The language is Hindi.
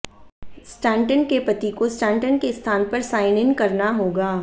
स्टैंटन के पति को स्टैंटन के स्थान पर साइन इन करना होगा